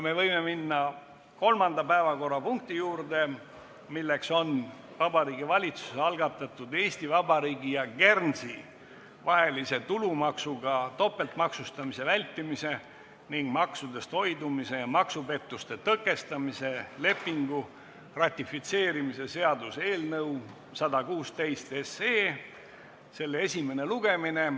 Me võime minna kolmanda päevakorrapunkti juurde, milleks on Vabariigi Valitsuse algatatud Eesti Vabariigi ja Guernsey vahelise tulumaksuga topeltmaksustamise vältimise ning maksudest hoidumise ja maksupettuste tõkestamise lepingu ratifitseerimise seaduse eelnõu 116 esimene lugemine.